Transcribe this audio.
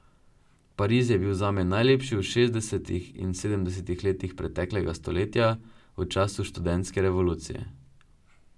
Pariz je bil zame najlepši v šestdesetih in sedemdesetih letih preteklega stoletja, v času študentske revolucije.